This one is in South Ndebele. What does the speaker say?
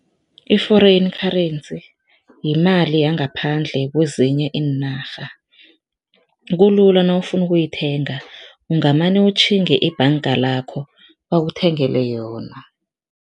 I-foreign currency yimali yangaphandle kwezinye iinarha, kulula nawufuna ukuyithenga ungamane utjhinge ebhanga lakho bakuthengele yona.